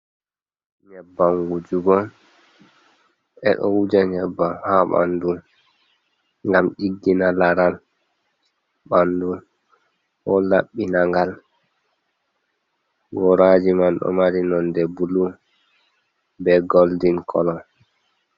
Nyebbam Wujugo, Ɓedou Wuja Nyebbam ha Ɓandu Ngam Ɗiggina Laral Ɓandu, Ɗou Labbina Ngal. Goraji man Ɗou Mari Nonde Blue be Golden Colour.